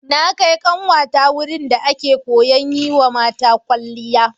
Na kai ƙanwata wurin da ake koyan yiwa mata kwalliya.